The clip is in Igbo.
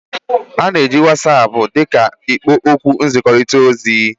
Ana m eji What's app dị ka ikpo okwu nkekọrịta ozi.